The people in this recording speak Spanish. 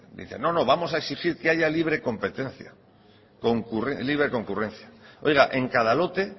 dicen no no vamos a exigir que haya libre competencia libre concurrencia oiga en cada lote